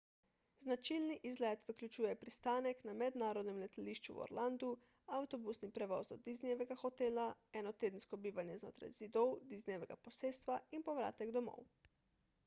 značilni izlet vključuje pristanek na mednarodnem letališču v orlandu avtobusni prevoz do disneyjevega hotela enotedensko bivanje znotraj zidov disneyjevega posestva in povratek domov